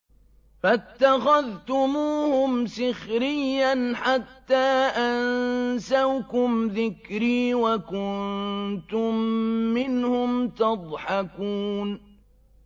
فَاتَّخَذْتُمُوهُمْ سِخْرِيًّا حَتَّىٰ أَنسَوْكُمْ ذِكْرِي وَكُنتُم مِّنْهُمْ تَضْحَكُونَ